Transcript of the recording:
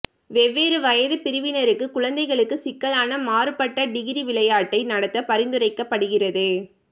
வெவ்வேறு வயதுப் பிரிவினருக்கு குழந்தைகளுக்கு சிக்கலான மாறுபட்ட டிகிரி விளையாட்டை நடத்த பரிந்துரைக்கப்படுகிறது